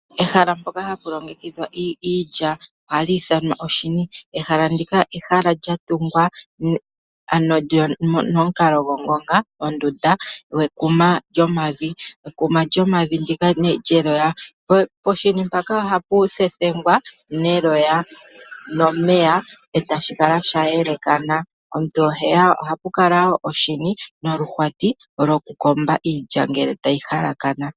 Ehala mpono hapu longekidhwa iilya ohali ithanwa oshini. Ehala ndika ohali kala lyatungwa momukalo gongonga ondunda yekuma lyomavi, ekuma lyomavi ndika lyeloya poshini mpaka ohapu thethengwa neloya nomeya etashi kala sha yelekana, ohapu kala wo oshini noluhwati lwokukoma iilya ngele tayi hala kana.